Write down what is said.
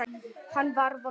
Hann var vondur.